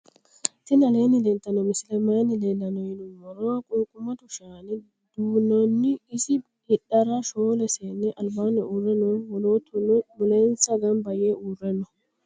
tini aleni leltano misileni maayi leelano yinnumoro. qunqumado shaana dunnoni iso hidhara shoole seni albanni uure noo wolootuno mulensa ganba yee uure noo.